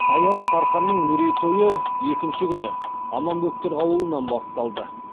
саялы сарқанның мерейтойы екінші күні аманбөктер ауылынан басталды